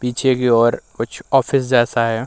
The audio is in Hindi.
पीछे की ओर कुछ ऑफिस जैसा है।